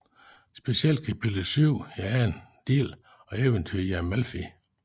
Specielt kapitel syv i anden del Eventyret i Amalfi